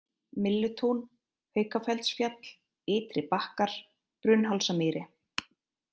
Myllutún, Haukafellsfjall, Ytri-Bakkar, Brunnhálsamýri